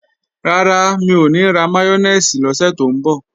Rárá, mi ò ní ra máyónèsì lọ́sẹ̀ tó ń bọ̀